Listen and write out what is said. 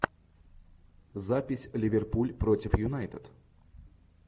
запись ливерпуль против юнайтед